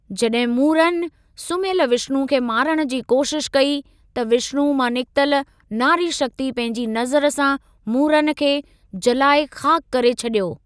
जॾहिं मुरन, सुम्यल विष्णु खे मारण जी कोशिश कई, त विष्णु मां निकतल नारी शक्ति पंहिंजी नज़र सां मुरन खे जलाए खाक करे छॾियो।